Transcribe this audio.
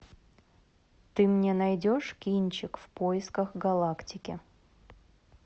ты мне найдешь кинчик в поисках галактики